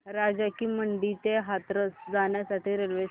राजा की मंडी ते हाथरस जाण्यासाठी रेल्वे सांग